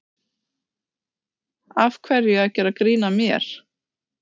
Af hverju að gera grín að mér.